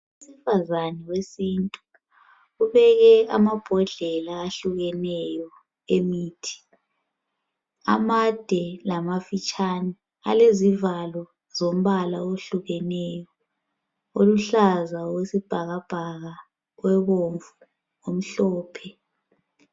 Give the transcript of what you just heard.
Umfazane wesintu, ubeke amabhodlela ahlukeneyo emithi. Amade lamafitshane. Alezivalo zombala owehlukeneyo. Oluhlaza , owesibhakalabhaka, obomvu omhlophe.